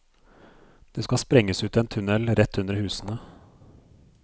Det skal sprenges ut en tunnel rett under husene.